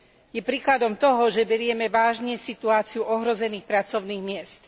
Je príkladom toho, že berieme vážne situáciu ohrozených pracovných miest.